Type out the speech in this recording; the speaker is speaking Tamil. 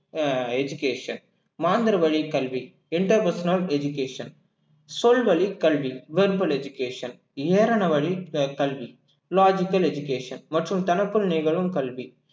அஹ் education மாந்திரவழி கல்வி interpersonal education சொல்வழிக் கல்வி verbal education வழி அஹ் கல்வி logical education மற்றும் தனக்குள் நிகழும் கல்வி